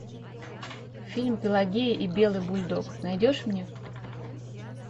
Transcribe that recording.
фильм пелагея и белый бульдог найдешь мне